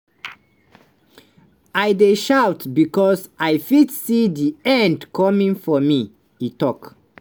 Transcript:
"i dey shout becos i fit see di end coming for me" e tok.